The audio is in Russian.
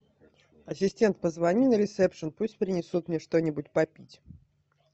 ассистент позвони на ресепшн пусть принесут мне что нибудь попить